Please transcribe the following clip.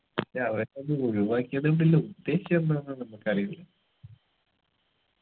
അവരത് ഒഴിവാക്കിയതോണ്ടുള്ള ഉദ്ദേശം എന്താന്നെന്ന് നമ്മക്കറിയില്ല